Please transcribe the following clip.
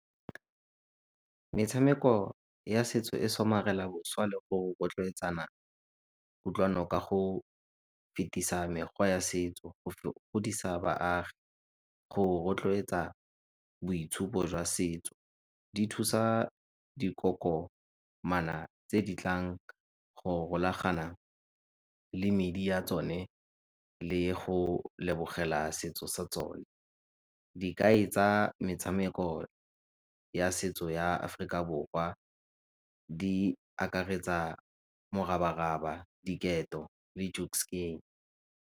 Metshameko ya setso e somarela le go rotloetsana kutlwano ka go fetisa mekgwa ya setso godisa baagi, go rotloetsa boitshupo jwa setso. Di thusa dikokomana tse di tlang go rolagana le medi ya tsone le go lebogela setso sa tsone. Dikai tsa metshameko ya setso ya Aforika Borwa di akaretsa morabaraba, diketo .